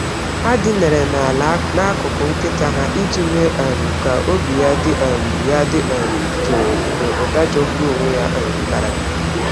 Ha dinara n’ala n’akụkụ nkịta ha iji mee um ka obi ya dị um ya dị um jụụ mgbe ụda jọgburu onwe ya um dara.